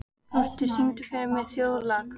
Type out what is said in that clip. Frosti, syngdu fyrir mig „Þjóðlag“.